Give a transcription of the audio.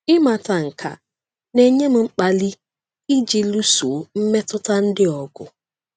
Ịmata nke a na-enye m mkpali iji lụso mmetụta ndị a ọgụ.”